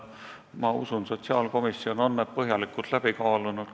Ma usun, sotsiaalkomisjon on kõik põhjalikult läbi kaalunud.